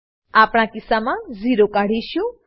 આપણા કિસ્સામા ઝેરો કાઢશું